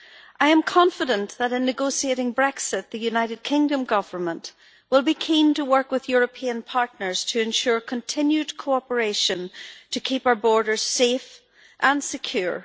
I am confident that in negotiating Brexit, the United Kingdom Government will be keen to work with its European partners to ensure continued cooperation to keep our borders safe and secure.